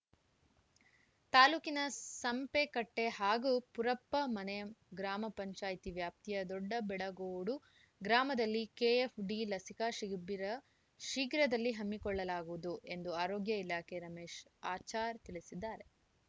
ತಾಲೂಕಿನ ಸಂಪೆಕಟ್ಟೆಹಾಗೂ ಪುರಪ್ಪಮನೆ ಗ್ರಾಮ ಪಂಚಾಯ್ತಿ ವ್ಯಾಪ್ತಿಯ ದೊಡ್ಡಬೆಡ ಗೋಡು ಗ್ರಾಮದಲ್ಲಿ ಕೆಎಫ್‌ಡಿ ಲಸಿಕಾ ಶಿಬಿರ ಶೀಘ್ರದಲ್ಲಿ ಹಮ್ಮಿಕೊಳ್ಳಲಾಗುವುದು ಎಂದು ಆರೋಗ್ಯ ಇಲಾಖೆಯ ರಮೇಶ ಆಚಾರ್‌ ತಿಳಿಸಿದ್ದಾರೆ